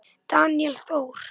Daníel Þór.